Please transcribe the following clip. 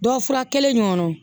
Dɔ fura kelen in kɔnɔ